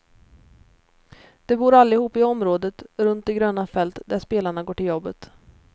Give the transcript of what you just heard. De bor allihop i området runt de gröna fält där spelarna går till jobbet.